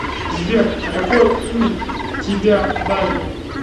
сбер а какое имя тебя дали